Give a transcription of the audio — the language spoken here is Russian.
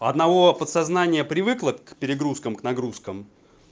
у одного подсознание привыкло к перегрузкам к нагрузкам